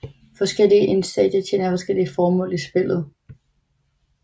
Forskellige insekter tjener forskellige formål i spillet